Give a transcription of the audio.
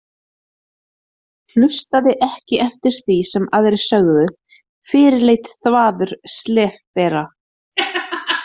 Hlustaði ekki eftir því sem aðrir sögðu, fyrirleit þvaður, slefbera.